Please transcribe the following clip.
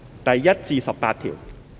第1至18條。